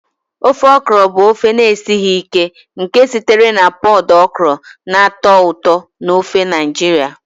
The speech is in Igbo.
Ofe okra bụ ofe na-esighị ike nke sitere na pọd okra na-atọ ụtọ n'ofe Naijiria.